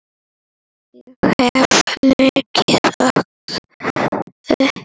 Ég hef svo mikla orku.